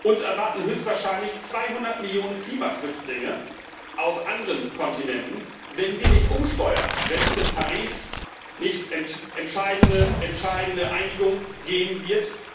Uns erwarten höchstwahrscheinlich 200 Millionen Klimaflüchtlinge aus anderen Kontinenten, wenn wir nicht umsteuern, wenn es in Paris nicht eine entscheidende Einigung geben wird.